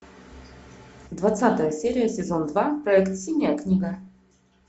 двадцатая серия сезон два проект синяя книга